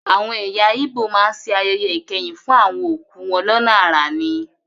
Àwọn ẹ̀yà ígbò má ń ṣe ayẹyẹ ìkẹyìn fún àwọn òkú wọn lọ́nà àrà ni